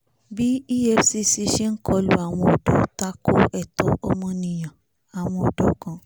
bí efcc ṣe ń kọlu àwọn ọ̀dọ́ takò ẹ̀tọ́ ọmọnìyànàwọn ọ̀dọ́ kan